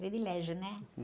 Privilégio, né?